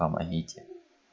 помогите